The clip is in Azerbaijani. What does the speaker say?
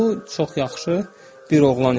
Bu çox yaxşı bir oğlan idi.